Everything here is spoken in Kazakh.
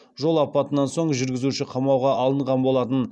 жол апатынан соң жүргізуші қамауға алынған болатын